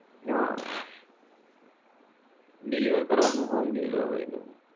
હા deliver કરવાનું home delivery નું